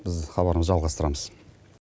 біз хабарымызды жалғастырамыз